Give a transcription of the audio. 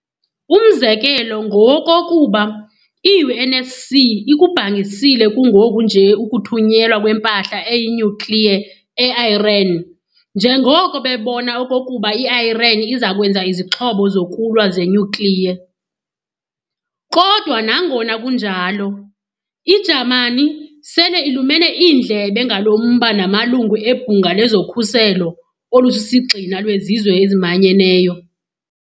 Umzekelo ngowokokuba i-UNSC ikubhangisile kungoku nje ukuthunyelwa kwempahla eyinuclear e-Iran njengoko bebona okokuba i-Iran izakwenza izixhobo zokulwa ze-nuclear. Kodwa nangona kunjalo, i-Jamani sele ilumene iindlebe ngalo mba namalungu ebhunga lezokhuseko olusisigxina lwezizwe ezimanyeneyo.